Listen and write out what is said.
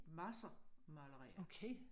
Masser malerier